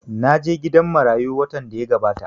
Na je gidan marayu watan da ya gabata